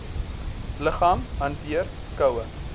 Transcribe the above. liggaam hanteer koue